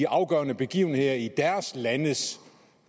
afgørende begivenheder i deres landes